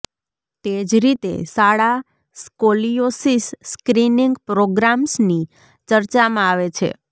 તે જ રીતે શાળા સ્ક્રોલિયોસિસ સ્ક્રીનીંગ પ્રોગ્રામ્સની ચર્ચામાં આવે છે